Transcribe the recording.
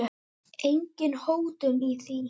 Engin hótun í því.